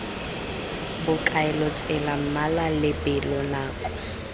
bokaelo tsela mmala lebelo nako